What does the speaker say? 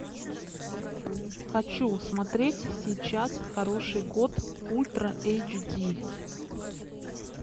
хочу смотреть сейчас хороший год ультра эйч ди